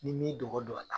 N'i m'i dogo a la